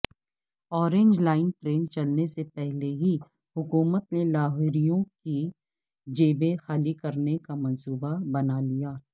orange line train چلنے سےپہلے ہی حکومت نے لاہوریوں کی جیبیں خالی کرنے کامنصوبہ بنالیا